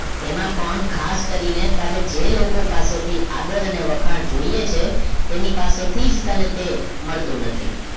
તેમાં પણ ખાસ કરીને તારે જે લોકો સાથે થી આદર અને વખાણ જોઈએ છે તેની પાસે થી જ તને તે મળતું નથી